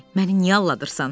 Məni niyə aldadırsan?